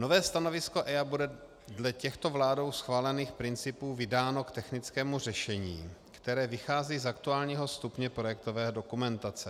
Nové stanovisko EIA bude dle těchto vládou schválených principů vydáno k technickému řešení, které vychází z aktuálního stupně projektové dokumentace.